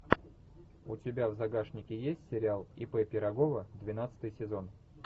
у тебя в загашнике есть сериал ип пирогова двенадцатый сезон